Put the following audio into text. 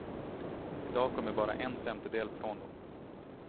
Idag kommer bara en femtedel från dem.